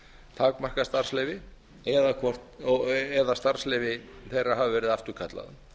takmarkað starfsleyfi eða starfsleyfi þeirra hafi verið afturkallað